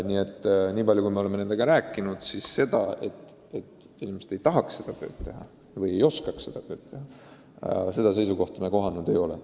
Me oleme nende inimestega rääkinud ja seisukohta, et mõni neist ei tahaks või ei oskaks seda teha, me kohanud ei ole.